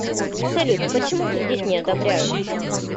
салют почему кредит не одобряют